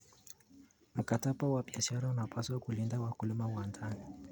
Mkataba wa biashara unapaswa kulinda wakulima wa ndani.